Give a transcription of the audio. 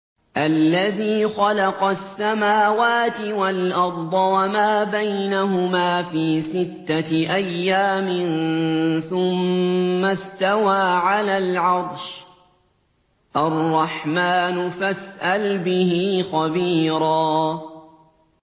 الَّذِي خَلَقَ السَّمَاوَاتِ وَالْأَرْضَ وَمَا بَيْنَهُمَا فِي سِتَّةِ أَيَّامٍ ثُمَّ اسْتَوَىٰ عَلَى الْعَرْشِ ۚ الرَّحْمَٰنُ فَاسْأَلْ بِهِ خَبِيرًا